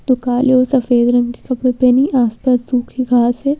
तो काले और सफेद रंग के कपड़े पहनी आसपास सूखे घास है।